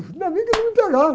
Ainda bem que eles não me pegaram.